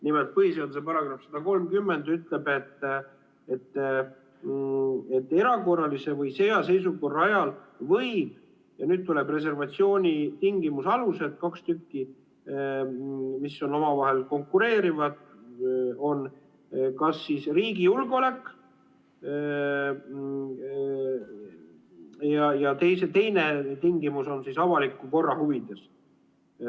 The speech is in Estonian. Nimelt, põhiseaduse § 130 ütleb, et erakorralise või sõjaseisukorra ajal võib – ja nüüd tulevad reservatsiooni tingimuse alused, kaks tükki, mis on omavahel konkureerivad: kas riigi julgeolek või teine tingimus on avaliku korra huvides.